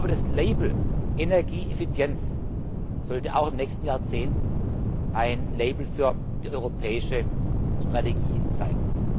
Das Label Energieeffizienz sollte auch im nächsten Jahrzehnt ein Label für die europäische Strategie sein.